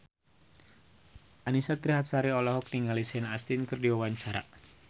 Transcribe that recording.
Annisa Trihapsari olohok ningali Sean Astin keur diwawancara